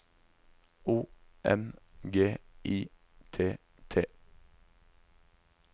O M G I T T